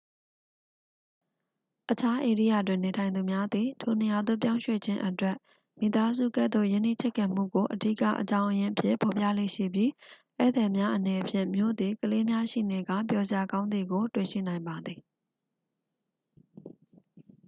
အခြားဧရိယာတွင်နေထိုင်သူများသည် ထိုနေရာသို့ပြောင်းရွှေ့ခြင်းအတွက် မိသားစုကဲ့သို့ရင်းနှီးချစ်ခင်မှုကို အဓိကအကြောင်းရင်းအဖြစ် ဖော်ပြလေ့ရှိပြီး ဧည့်သည်များအနေဖြင့် မြို့သည် ကလေးများရှိနေကာ ပျော်စရာကောင်းသည်ကို တွေ့ရှိနိုင်ပါသည်